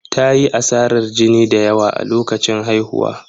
Ta yi asarar jini da yawa a lokacin haihuwa.